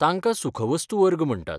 तांकां सुखवस्तू वर्ग म्हणटात.